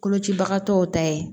Kolocibagatɔw ta ye